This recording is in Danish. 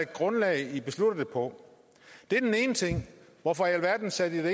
grundlag i beslutter det på det er den ene ting hvorfor i alverden satte i det